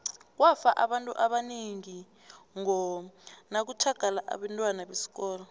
kwafa abantu abanengi ngo nakutjhagala abentwana besikolo